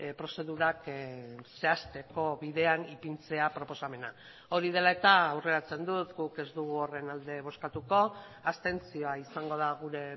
prozedurak zehazteko bidean ipintzea proposamena hori dela eta aurreratzen dut guk ez dugu horren alde bozkatuko abstentzioa izango da gure